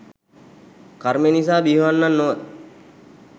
කර්මය නිසා බිහිවන්නන් නොව.